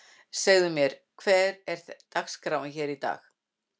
Segðu mér, hver er dagskráin hér í dag?